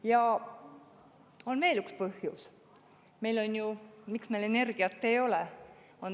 Ja on veel üks põhjus, miks meil energiat ei ole.